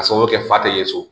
Ka sababu kɛ fa tɛ ye so